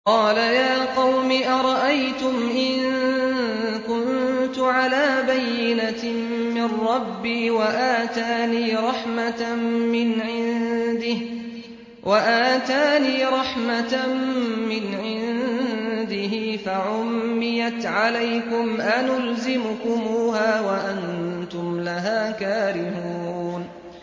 قَالَ يَا قَوْمِ أَرَأَيْتُمْ إِن كُنتُ عَلَىٰ بَيِّنَةٍ مِّن رَّبِّي وَآتَانِي رَحْمَةً مِّنْ عِندِهِ فَعُمِّيَتْ عَلَيْكُمْ أَنُلْزِمُكُمُوهَا وَأَنتُمْ لَهَا كَارِهُونَ